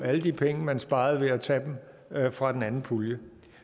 alle de penge man sparede ved at tage dem fra den anden pulje